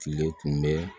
Tile tun bɛ